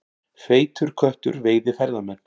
Feitur köttur veiði ferðamenn